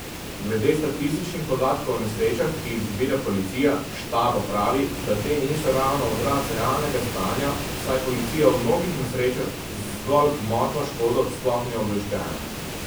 Glede statističnih podatkov o nesrečah, ki jih zbira policija, Štaba pravi, da te niso ravno odraz realnega stanja, saj policija o mnogih nesrečah z zgolj gmotno škodo sploh ni obveščena.